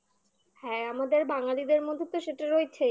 হ্যাঁ আমাদের বাঙ্গালীদের মধ্যে তো সেটা রয়েছেই